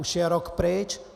Už je rok pryč.